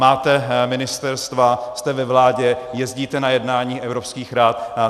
Máte ministerstva, jste ve vládě, jezdíte na jednání evropských rad.